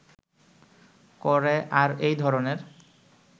করে আর এই ধরনের